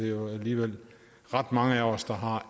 jo alligevel ret mange af os der har